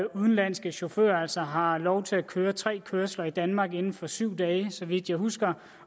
udenlandske chauffører altså har lov til at køre tre kørsler i danmark inden for syv dage så vidt jeg husker